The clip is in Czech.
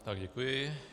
Já děkuji.